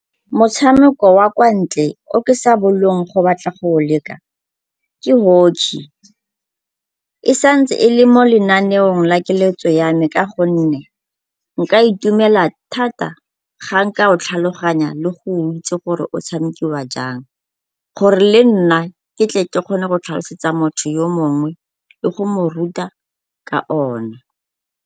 Motshameko wa kwa ntle o ke sa bolong go batla go o leka ke hockey. E sa ntse e le mo lenaneong la keletso ya me ka gonne nka itumela thata ga nka o tlhaloganya le go itse gore o tshamekiwa jang gore le nna ke tle ke kgone go tlhalosetsa motho yo mongwe le go mo ruta ka ona.